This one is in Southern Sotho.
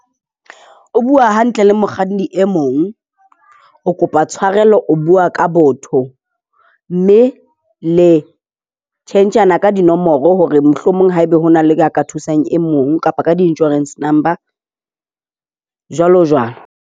O bua hantle le mokganni e mong, o kopa tshwarelo. O bua ka botho, mme le tjhentjhana ka dinomoro hore mohlomong haeba ho na le a ka thusang e mong kapa ka di-insurance number, jwalo jwalo.